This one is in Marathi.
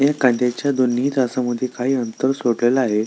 या कांद्याच्या दोनही तासामध्ये काही अंतर सोडलेलं आहे.